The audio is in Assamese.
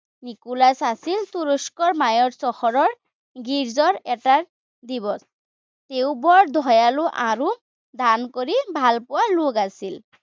নিকোলাচ আছিল তুৰস্কৰ মাইয়োৰ চহৰৰ গীৰ্জাৰ এটা তেওঁ বৰ দয়ালু আৰু দান কৰি ভালপোৱা লোক আছিল।